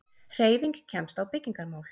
HREYFING KEMST Á BYGGINGARMÁL